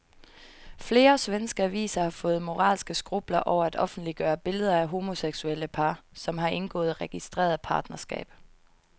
Flere svenske aviser har fået moralske skrupler over at offentliggøre billeder af homoseksuelle par, som har indgået registreret partnerskab.